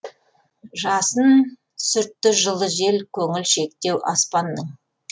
жасын сүртті жылы жел көңілшектеу аспанның